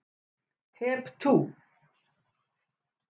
Hep tú!